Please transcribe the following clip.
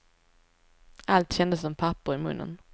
Allt kändes som papper i munnen.